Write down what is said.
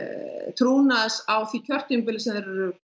trúnaðs á því kjörtímabili sem þeir eru